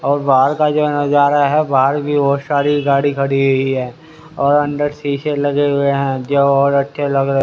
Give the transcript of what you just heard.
और बाहर का जो नजारा है बाहर भी बहुत सारी गाड़ी खड़ी हुई है और अंदर शीशे लगे हुए हैं जो और अच्छे लग रहे--